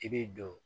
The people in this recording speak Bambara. I b'i don